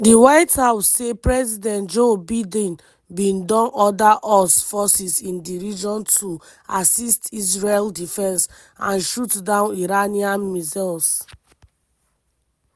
di white house say president joe biden bin don order us forces in di region to "assist israel defence" and shoot down iranian missiles.